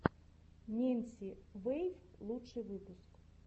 ненси вэйв лучший выпуск